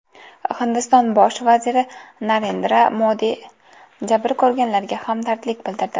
Hindiston bosh vaziri Narendra Modi jabr ko‘rganlarga hamdardlik bildirdi.